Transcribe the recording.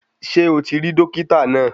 Ṣé o ti rí Dokita náà?